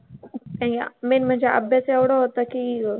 काय main म्हणजे अभ्यास एवढा होता की ग.